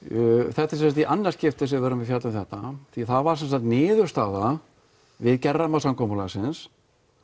þetta er sem sagt í annað skipti sem við erum að fjalla um þetta því það var sem sagt niðurstaða við gerð rammasamkomulagsins